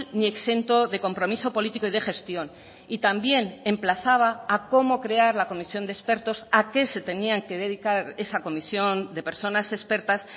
ni exento de compromiso político y de gestión y también emplazaba a cómo crear la comisión de expertos a qué se tenían que dedicar esa comisión de personas expertas